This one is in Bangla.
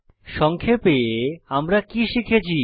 সংক্ষেপে আমরা কি শিখেছি